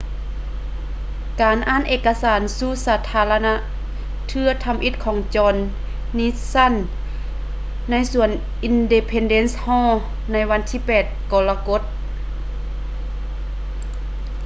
ການອ່ານເອກະສານສູ່ສາທາລະນະເທື່ອທຳອິດໂດຍ jonh nixon ໃນສວນ independence hall ໃນວັນທີ 8 ກໍລະກົດ